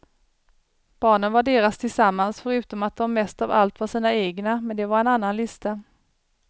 Barnen var deras tillsammans, förutom att de mest av allt var sina egna men det var en annan lista.